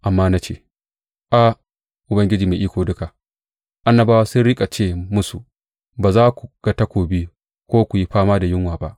Amma na ce, A, Ubangiji Mai Iko Duka, annabawa sun riƙa ce musu, Ba za ku ga takobi ko ku yi fama da yunwa ba.